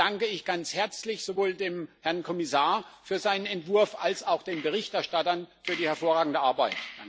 Dennoch danke ich ganz herzlich sowohl dem Herrn Kommissar für seinen Entwurf als auch den Berichterstattern für die hervorragende Arbeit.